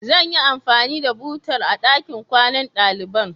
Zan yi anfani da butar a ɗakin kwanan ɗaliban.